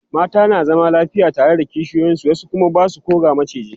mata na zama lafiya tare da kishiyoyin su wasu Kuma Basu koh ga maciji